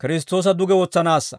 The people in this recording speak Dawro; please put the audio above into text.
Kiristtoosa duge wotsanaassa;